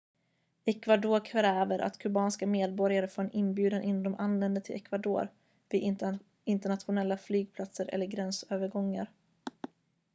ecuador kräver att kubanska medborgare får en inbjudan innan de anländer till ecuador via internationella flygplatser eller gränsövergångar